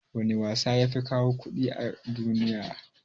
wana wasa yafi kawo kuɗi a duniya?